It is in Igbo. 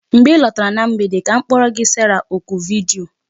Mgbe ị lọtara na mgbede ka m kporo gi Sarah oku vidiyo